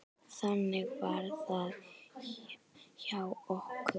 Þannig var það hjá okkur.